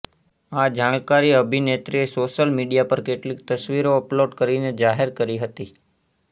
આ જાણકારી અભિનેત્રીએ સોશિયલ મીડિયા પર કેટલીક તસવીરો અપલોડ કરીને જાહેર કરી હતી